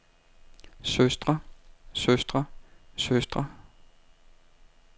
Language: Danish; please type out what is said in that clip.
søstre søstre søstre